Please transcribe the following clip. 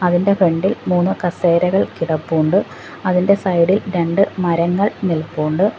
ഇതിൻ്റെ ഫ്രണ്ട് ഇൽ മൂന്ന് കസേരകൾ കിടപ്പുണ്ട് അതിൻ്റെ സൈഡ് ഇൽ രണ്ട് മരങ്ങൾ നിൽപ്പുണ്ട്.